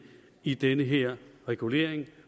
i den her regulering